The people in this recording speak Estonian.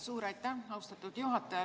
Suur aitäh, austatud juhataja!